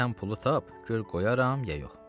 Sən pulu tap, gör qoyaram ya yox.